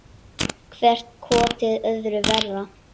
Hvert kotið öðru verra.